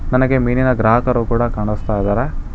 ನನಗೆ ಮೀನಿನ ಗ್ರಾಹಕರು ಕೂಡ ಕಾಣಸ್ತಾ ಇದ್ದಾರೆ.